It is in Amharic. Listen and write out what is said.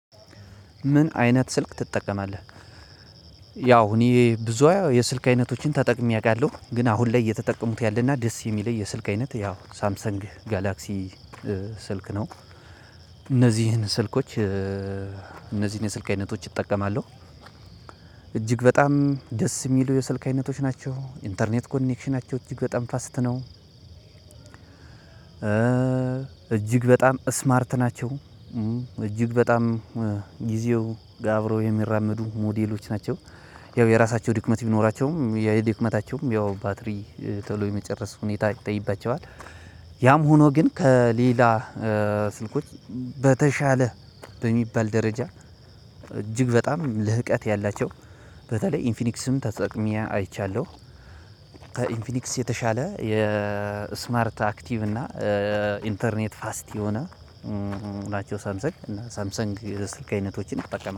ምን አይነት ስልክ ትጠቀማለህ? ያው እኔ ብዙ የሰልክ አይነቶችን ተጠቅሜ አውቃለሁ። ግን አሁን ላይ እየተጠቀምኩ ያለውት እና ደስ የሚለኝ የሰልክ አይነት ሳምሰንግ ጋላክሲ ስልክ ነው እነዚህን የስልክ አይነቶች እጠቀማለሁ። እጅግ በጣም ደስ የሚሉ የስልክ አይነቶች ናቸው ኢንተርኔት ኮኔክሽናቸው እጅግ በጣም ፈጣን ነው። እጅግ በጣም ስማርት ናቸው። እጅግ በጣም ጊዜው ጋር አብረው የሚራመዱ ሞዴሎች ናቸው። ያው የራሳቸው ድክመት ቢኖራቸውም ድክመታቸውም ያው ባትሪ ቶሎ የመጨረስ ሁኔታ ይታይባቸዋል ያም ሆኖ ግን ከሌላ ስልኮች በተሻለ በሚባል ደረጃ እጅግ በጣም ልህቀት ያላቸው በተለይ ኢንፊኒክስም ተጠቅሜ አይቻለሁ ከኢንፍኒክስ የተሻለ የስማርት አክቲቭ እና ኢንቴርኔታቸው ፍጣን የሆኑ የሳምሰንግ አይነት ስልኮችን እጠቀማለሁ።